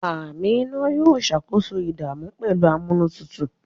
Amina yóò ṣàkóso ìdààmú pẹ̀lú amúnútutù